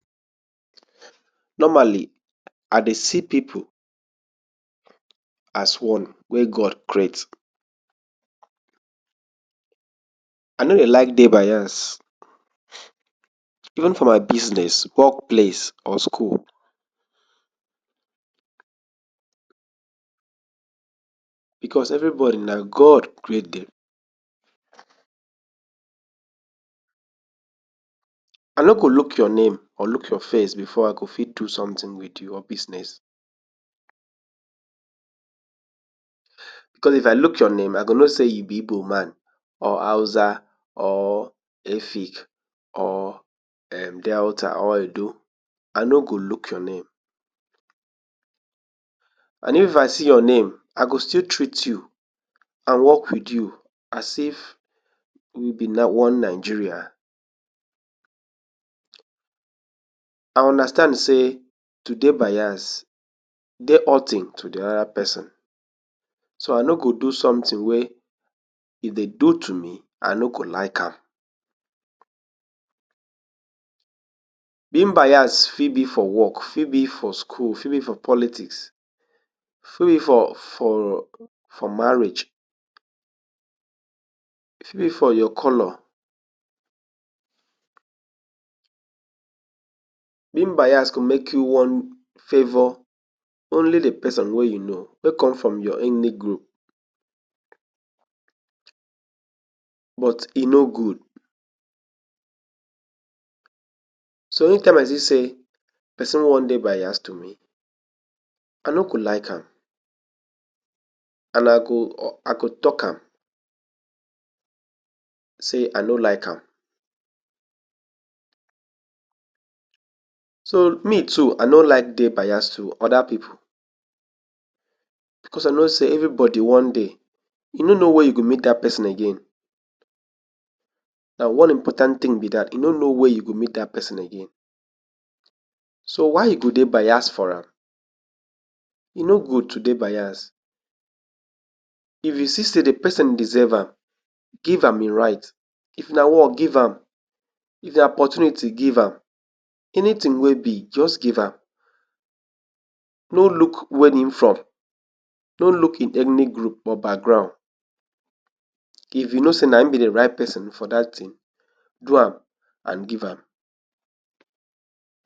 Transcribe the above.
Normally, I dey see pipu as one wey God create I nor dey like dey bias even for my business, work place or skul. bcos everybodi na God create dem. I nor go luk your name or luk your face befor I go fit do someting wit you or business bcos if I look your name I go know sey you be Ibo man or Hausa or efik or um Delta or edo I nor go luk your name and if I see your name I go still treat you and work wit you as if we be na one Nigeria. I understand say to dey bias dey hurting tu de ora pesin so I nor go do sometin wey if den do tu me I nor go like am. Being bias fit be for work fi be for skul fi be for politics fi be for for marriage, fi be for your color. Being bias go make you wan favour only de person wey you know wey come from your enic group, but e nor gud so any time I see sey person wan dey bias to me I nor go like am and I go i go talk am say I nor like am. So me too I nor like de bias tu oda pipu bcos I know sey everybody one day you nor know where you go meet dat person again na one important tin be dat you nor know where you go meet dat person again so why you go dey bias for am e nor good tu dey bias if you see sey de person deserve am give am e right if na work give am if na opportunity give am anytin wey be just give am no luk wen him from nor look e etnic group or background if you know sey na him be de right person for dat tin do am and give am